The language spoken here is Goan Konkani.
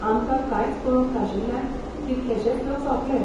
आमकां कांयच कळोवंक नाशिल्ल्यान कितलेशेंच लोक सोंपले.